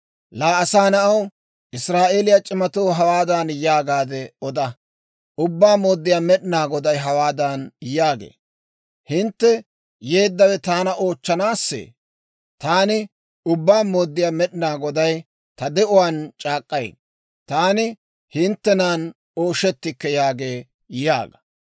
«Laa asaa na'aw, Israa'eeliyaa c'imatoo hawaadan yaagaade oda; ‹Ubbaa Mooddiyaa Med'inaa Goday hawaadan yaagee; «Hintte yeeddawe taana oochchanaassee? Taani Ubbaa Mooddiyaa Med'inaa Goday ta de'uwaan c'aak'k'ay: Taani hinttenan ooshettikke» yaagee› yaaga.